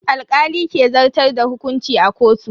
Alkali ke zartar da hukunci a kotu.